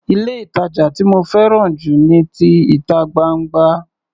Ilé-ìtàjà tí mo fẹ́ràn jù ni ti ìta gbangba.